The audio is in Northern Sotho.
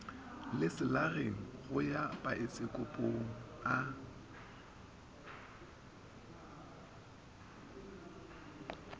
leselageng go ya paesekopong a